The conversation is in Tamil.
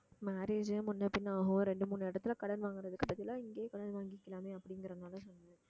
marriage ஏ முன்னபின்ன ஆகும் இரண்டு மூணு இடத்துல கடன் வாங்கறதுக்கு பதிலா இங்கேயே கடன் வாங்கிக்கலாமே அப்படிங்கிறதுனால சொன்னேன்